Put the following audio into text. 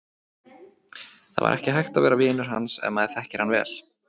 Það var ekki hægt að vera vinur hans ef maður þekkir hann vel.